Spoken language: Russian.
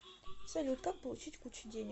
салют как получить кучу денег